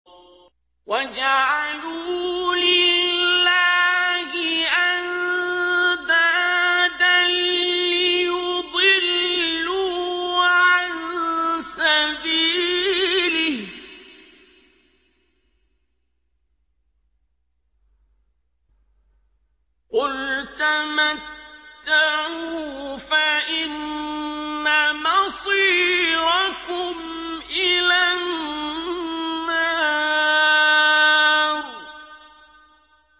وَجَعَلُوا لِلَّهِ أَندَادًا لِّيُضِلُّوا عَن سَبِيلِهِ ۗ قُلْ تَمَتَّعُوا فَإِنَّ مَصِيرَكُمْ إِلَى النَّارِ